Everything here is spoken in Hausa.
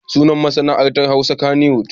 Sunan masana'antar wasan Hausa kaniwud.